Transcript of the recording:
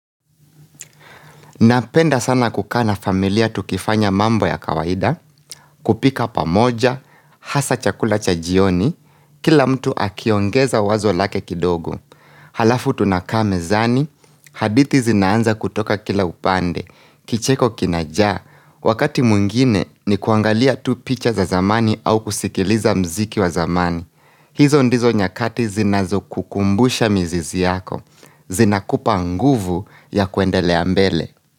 Napenda sana kukaa na familia tukifanya mambo ya kawaida, kupika pamoja, hasaa chakula cha jioni, kila mtu akiongeza wazo lake kidogo Halafu tunakaa mezani, hadithi zinaanza kutoka kila upande, kicheko kinaja, wakati mwingine ni kuangalia tu picha za zamani au kusikiliza muziki wa zamani hizo ndizo nyakati zinazokukumbusha mizizi yako, zinakupa nguvu ya kuendelea mbele.